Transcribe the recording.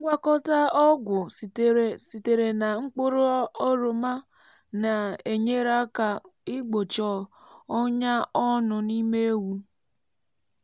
ngwakọta ọgwụ sitere sitere na mkpụrụ oroma na-enyere aka igbochi ọnya ọnụ n’ime ewu.